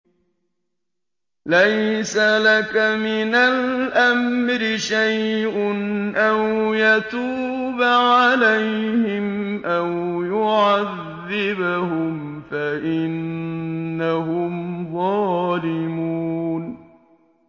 لَيْسَ لَكَ مِنَ الْأَمْرِ شَيْءٌ أَوْ يَتُوبَ عَلَيْهِمْ أَوْ يُعَذِّبَهُمْ فَإِنَّهُمْ ظَالِمُونَ